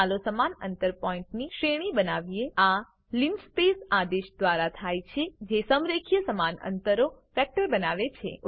ચાલો સમાન અંતર પોઈન્ટની શ્રેણી બનાવીએ આ લિનસ્પેસ આદેશ દ્વારા થાય છે જે સમ્રેખીય સમાન અંતરનો વેક્ટર બનાવે છે